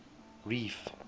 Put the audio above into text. reef